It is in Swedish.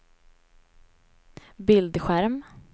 bildskärm